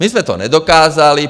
My jsme to nedokázali.